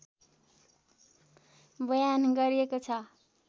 बयान गरिएको छ